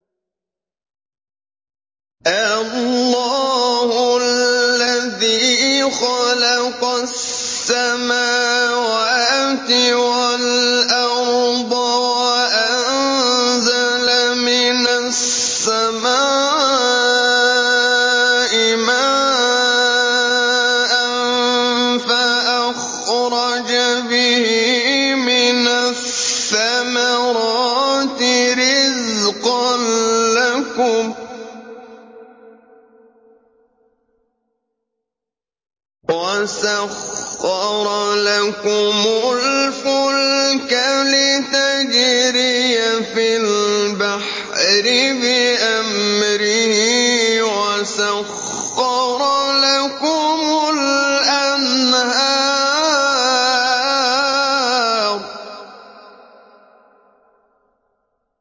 اللَّهُ الَّذِي خَلَقَ السَّمَاوَاتِ وَالْأَرْضَ وَأَنزَلَ مِنَ السَّمَاءِ مَاءً فَأَخْرَجَ بِهِ مِنَ الثَّمَرَاتِ رِزْقًا لَّكُمْ ۖ وَسَخَّرَ لَكُمُ الْفُلْكَ لِتَجْرِيَ فِي الْبَحْرِ بِأَمْرِهِ ۖ وَسَخَّرَ لَكُمُ الْأَنْهَارَ